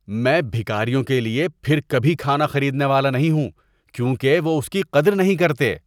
میں بھکاریوں کے لیے پھر کبھی کھانا خریدنے والا نہیں ہوں کیونکہ وہ اس کی قدر نہیں کرتے۔